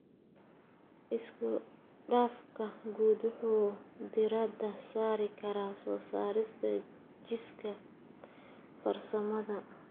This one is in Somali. Isku-dhafka guud wuxuu diiradda saari karaa soo saarista jiiska farsamada.